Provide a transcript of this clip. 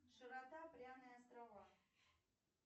широта пряные острова